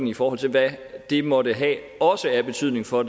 i forhold til hvad det måtte have af betydning for